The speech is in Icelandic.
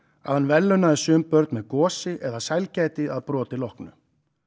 að hann verðlaunaði sum börn með gosi eða sælgæti að broti loknu